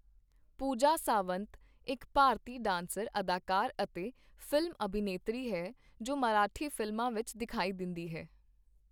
ਪੂਜਾ ਸਾਵੰਤ ਇੱਕ ਭਾਰਤੀ ਡਾਂਸਰ, ਅਦਾਕਾਰ ਅਤੇ ਫ਼ਿਲਮ ਅਭਿਨੇਤਰੀ ਹੈ ਜੋ ਮਰਾਠੀ ਫ਼ਿਲਮਾਂ ਵਿੱਚ ਦਿਖਾਈ ਦਿੰਦੀ ਹੈ।